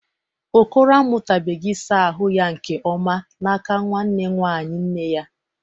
Okoro amụtabụghị ịsa ahụ ya nke ọma n'aka nwanne nwanyị nne ya.